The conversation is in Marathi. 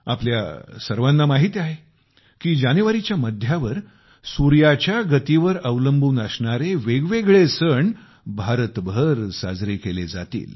आपल्या सर्वांना माहित आहे की जानेवारीच्या मध्यावर सूर्याच्या गतीवर अवलंबून असणारे वेगवेगळे सण भारतभर साजरे केले जातील